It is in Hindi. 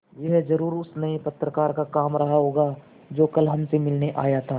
यह ज़रूर उस नये पत्रकार का काम रहा होगा जो कल हमसे मिलने आया था